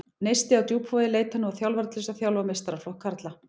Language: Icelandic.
Neisti á Djúpavogi leitar nú að þjálfara til þess að þjálfa meistaraflokk karla.